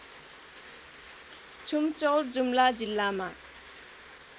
छुमचौर जुम्ला जिल्लामा